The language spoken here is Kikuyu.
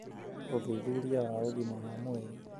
ũthuthuria wa ũgima wa mwĩrĩ: